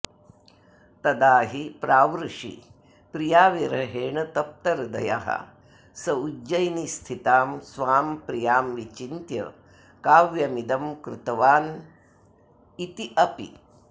तदा हि प्रावृषि प्रियाविरहेण तप्तहृदयः स उज्जयिनीस्थितां स्वां प्रियां विचिन्त्य काव्यमिदं कृतवानित्यपि